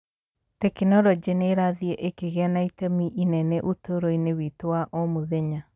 Tekinoronjĩ nĩ ĩrathiĩ ĩkĩgĩa na itemi inene ũtũũro-inĩ witũ wa o mũthenya.